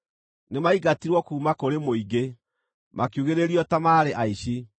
Nĩmaingatirwo kuuma kũrĩ mũingĩ, makiugĩrĩrio ta maarĩ aici.